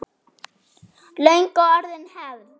Löngu orðin hefð.